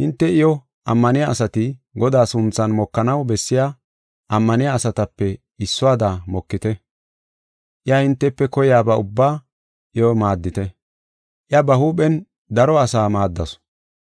Hinte ammaniya asati Godaa sunthan mokanaw bessiya ammaniya asatape issuwada iyo mokite. Iya hintefe koyaba ubbaa iyo maaddite. Iya ba huuphen daro asaa maaddasu;